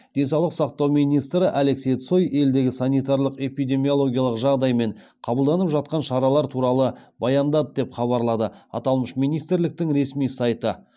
денсаулық сақтау министрі алексей цой елдегі санитарлық эпидемиологиялық жағдай мен қабылданып жатқан шаралар туралы баяндады деп хабарлады аталмыш министрліктің ресми сайты